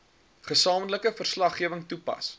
gesamentlike verslaggewing toepas